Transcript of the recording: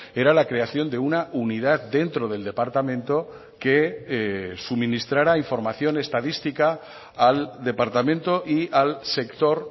era la creación de una unidad dentro del departamento que suministrara información estadística al departamento y al sector